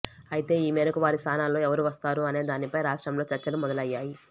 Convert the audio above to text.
అయితే ఈ మేరకు వారి స్థానాల్లో ఎవరు వస్తారు అనే దాని పై రాష్ట్రం లో చర్చలు మొదలు అయ్యాయి